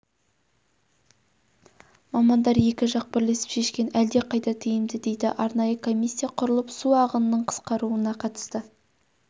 мамандар екі жақ бірлесіп шешкені әлдеқайда тиімді дейді арнайы комиссия құрылып су ағынының қысқаруына қатысты